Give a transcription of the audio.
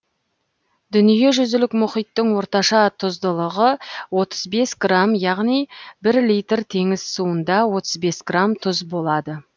дүниежүзілік мұхиттың орташа тұздылығы отыз бес грамм яғни бір литр теңіз суында отыз бес грамм тұз болады